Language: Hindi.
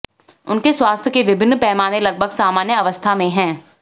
उनके स्वास्थ्य के विभिन्न पैमाने लगभग सामान्य अवस्था में हैं